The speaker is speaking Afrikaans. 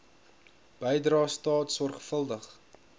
bydrae staat sorgvuldig